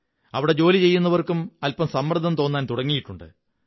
അവിടെ ജോലി ചെയ്യുന്നവര്ക്കും അല്പംങ സമ്മര്ദ്ദം തോന്നാൻ തുടങ്ങിയിട്ടുണ്ട്